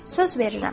Söz verirəm.